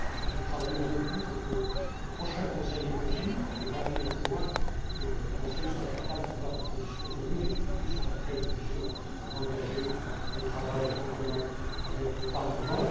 Nous travaillons beaucoup pour que lors du prochain Conseil ECOFIN, le 21 juin, le Conseil soit capable d'avoir une position commune et que tout de suite après, nous puissions engager le travail en commun avec le Parlement.